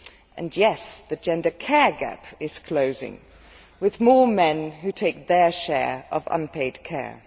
And yes, the gender care gap is closing, with more men who take their share of unpaid care'.